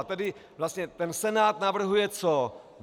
A tedy vlastně ten Senát navrhuje co?